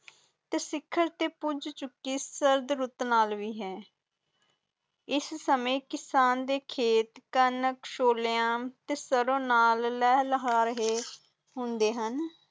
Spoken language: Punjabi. ਤੇ ਸਿਖਰ ਤੇ ਪੁੱਜ ਚੁਕਲੀ ਸਰਦ ਰਿਤੂ ਨਾਲ ਭੀ ਹੈ ਇਸ ਸਮੇਂ ਕਿਸ਼ਨ ਦੇ ਖੇਤ ਕਣਕ ਸੋਲੇਯਾ ਤੇ ਸਰੋਂ ਨਾਲ ਲੇਹਲ ਰਹੇ ਹੋਣ